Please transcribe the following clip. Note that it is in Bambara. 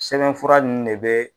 Sɛbɛnfura nunnu ne be